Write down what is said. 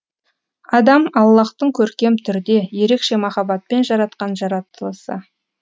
адам аллаһтың көркем түрде ерекше махаббатпен жаратқан жаратылысы